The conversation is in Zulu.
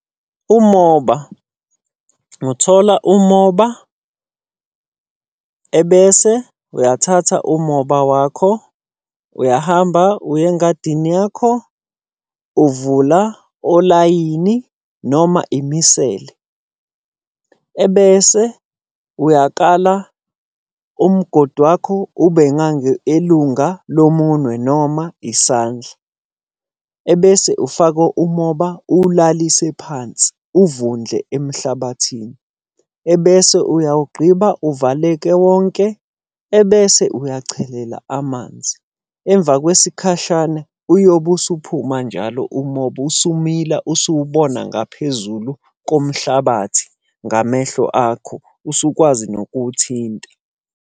Umoba, ngothola umoba, ebese uyathatha umoba wakho, uyahamba uya engadini yakho, uvula olayini noma imisele. Ebese uyakala umgodi wakho ubengange elunga lo munwe noma isandla. Ebese ufaka umoba uwulalise phansi, uvundle emhlabathini. Ebese uyawugqiba, uvaleke wonke, ebese uyachelela amanzi. Emva kwesikhashana uyobe usuphuma njalo umoba usumila usuwubona ngaphezulu komhlabathi, ngamehlo akho, usukwazi nokuthinta.